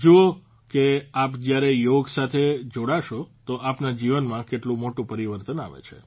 જુઓ કે આપ જયારે યોગ સાથે જોડાશો તો આપના જીવનમાં કેટલું મોટું પરિવર્તન આવે છે